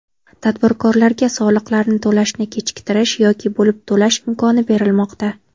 Tadbirkorlarga soliqlarni to‘lashni kechiktirish yoki bo‘lib to‘lash imkoni berilmoqda.